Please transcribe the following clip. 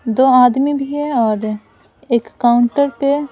दो आदमी भी है और एक काउंटर पे--